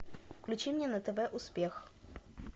включи мне на тв успех